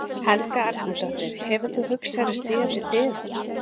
Helga Arnardóttir: Hefur þú hugsað þér að stíga til hliðar?